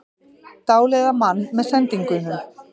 Dáleiða mann með sendingunum